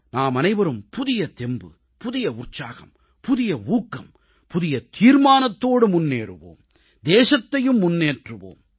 நாமனைவரும் புதிய தெம்பு புதிய உற்சாகம் புதிய ஊக்கம் புதிய தீர்மானத்தோடு முன்னேறுவோம் தேசத்தையும் முன்னேற்றுவோம்